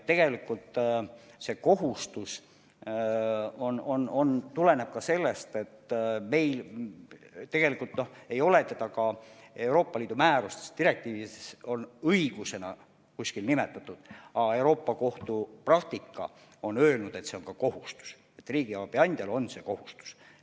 Tegelikult see kohustus tuleneb ka sellest – meil ei ole seda Euroopa Liidu määrustes ja direktiivides on kuskil õiguseks nimetatud –, et Euroopa Kohus on öelnud, et see on ka kohustus, riigiabi andjale on see kohustus.